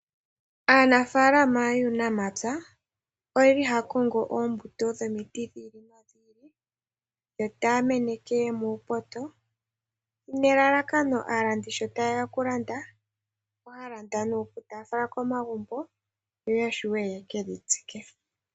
Aanafalama yuunamapya, oyeli haya kongo oombuto dhomiti dhi ili nodhi ili, yo taya meneke muupoto, nelalakano aalandi sho tayeya okulanda, ohaya landa nuupu, taya fala komagumbo, yo yashiwe yekedhi tsike.